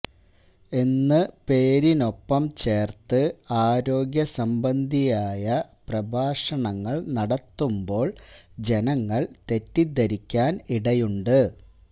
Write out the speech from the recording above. എന്ന് പേരിനൊപ്പം ചേർത്ത് ആരോഗ്യ സംബന്ധിയായ പ്രഭാഷണങ്ങൾ നടത്തുമ്പോൾ ജനങ്ങൾ തെറ്റിദ്ധരിക്കുവാൻ ഇടയുണ്ട്